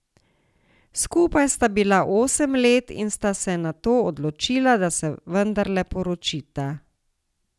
Skupaj sta bila osem let in sta se nato odločila, da se vendarle poročita.